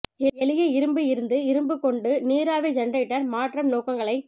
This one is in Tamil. எளிய இரும்பு இருந்து இரும்பு கொண்டு நீராவி ஜெனரேட்டர் மாற்றம் நோக்கங்களை